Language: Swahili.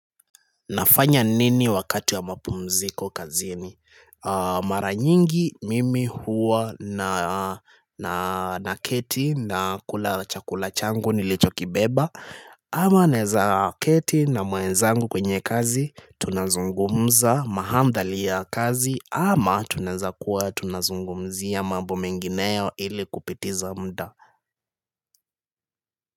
Nafanya nini wakati wa mapumziko kazini mara nyingi mimi huwa naketi na kula chakula changu nilichokiibeba ama naeza keti na mwenzangu kwenye kazi tunazungumza mahamdhali ya kazi ama tunaezakuwa tunazungumzia mambo mengineo ili kupitiza muda.